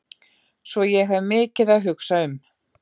Svo ég hef mikið að hugsa um.